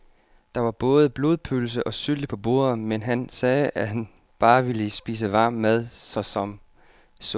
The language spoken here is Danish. Der var både blodpølse og sylte på bordet, men han sagde, at han bare ville spise varm mad såsom suppe.